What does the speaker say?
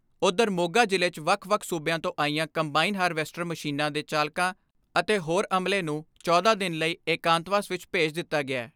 ਉਧਰ ਮੋਗਾ ਜ਼ਿਲ੍ਹੇ 'ਚ ਵੱਖ ਵੱਖ ਸੂਬਿਆਂ ਤੋਂ ਆਈਆਂ ਕੰਬਾਈਨ ਹਾਰਵੈਸਟਰ ਮਸ਼ੀਨਾਂ ਦੇ ਚਾਲਕਾਂ ਅਤੇ ਹੋਰ ਅਮਲੇ ਨੂੰ ਚੌਦਾਂ ਦਿਨ ਲਈ ਏਕਾਂਤਵਾਸ ਵਿਚ ਭੇਜ ਦਿੱਤਾ ਗਿਐ।